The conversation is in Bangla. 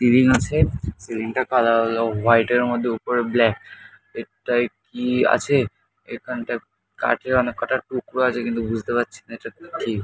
সিলিং আছে এবং সিলিং -টার হলো হোয়াইট -এর মধ্যে উপরে ব্ল্যাক এটায় কি আছে এখানটায় কাঠের অনেক কটা টুকরো আছে। কিন্তু বুঝতে পারছি না এটা কি।